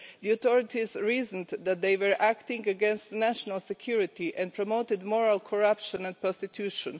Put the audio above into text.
The authorities reasoned that they were acting against national security and promoting moral corruption and prostitution.